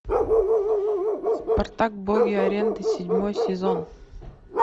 спартак боги арены седьмой сезон